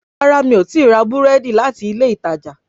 Rárá mi o ti ra búrẹ́dì láti ilé ìtajà